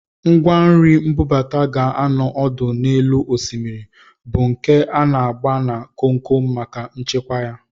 Ngwanri mbubata ga-anọ ọdụ n'elu osimiri, bụ nke a na-agba na komkom maka nchekwa ya